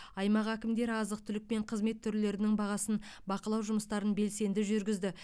аймақ әкімдері азық түлік пен қызмет түрлерінің бағасын бақылау жұмыстарын белсенді жүргізді